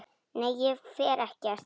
Nei, ég fer ekkert.